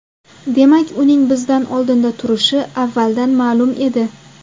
Demak, uning bizdan oldinda turishi avvaldan ma’lum edi.